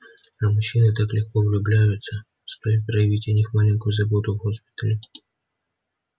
а мужчины так легко влюбляются стоит проявить о них маленькую заботу в госпитале